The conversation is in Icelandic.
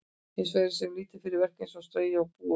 Hins vegar sé hún lítið fyrir verk eins og að strauja og búa um.